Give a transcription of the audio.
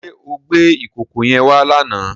Ṣé o gbé ìkòkò yẹn wá lánàá?